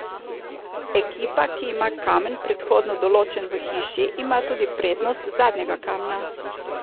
Ekipa, ki ima kamen predhodno določen v hiši, ima tudi prednost zadnjega kamna.